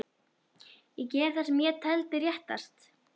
Ég gerði það sem ég taldi réttast.